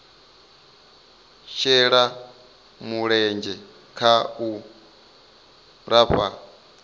shela mulenzhe kha u lafha